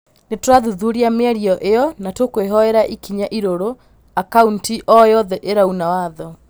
Nĩtũrathuthuria mĩario ĩyo na nĩtũkwoyera ikinya irũrũ akaũnti o yothe ĩrauna watho